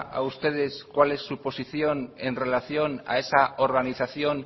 a ustedes cuál es su posición en relación a esa organización